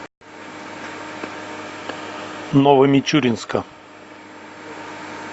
новомичуринска